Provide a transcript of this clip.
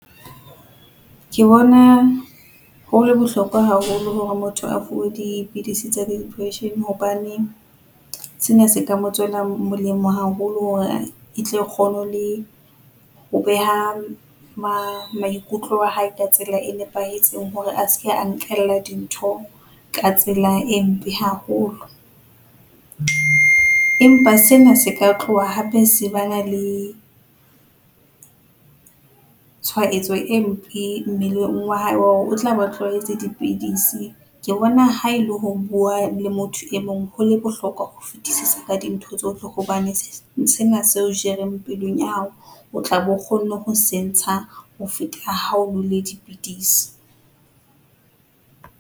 Ke bona hole bohlokwa haholo hore motho a fuwe dipidisi tsa di-depression hobane, sena se ka mo tswela molemo haholo hore e tlo kgone le ho beha ma maikutlo a hae ka tsela e nepahetseng hore a seke a nkella dintho ka tsela e mpe haholo, empa sena se ka tloha hape se ba na le tshwaetso e mpe mmeleng wa hae wa hore o tlabe a tlwaetse dipidisi. Ke bona ha e le ho bua le motho e mong hole bohlokwa ho fetisisa ka dintho tsohle hobane sena se o jereng pelong ya hao, o tlabe o kgonne ho se ntsha ho feta ha o nwele dipidisi.